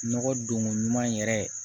Nɔgɔ donko ɲuman yɛrɛ